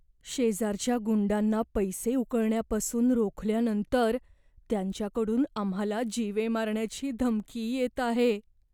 शेजारच्या गुंडांना पैसे उकळण्यापासून रोखल्यानंतर त्यांच्याकडून आम्हाला जीवे मारण्याची धमकी येत आहे.